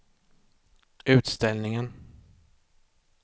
utställningen